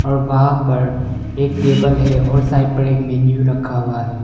वहां पर एक टेबल है और साइड पर एक मेनू रखा हुआ है।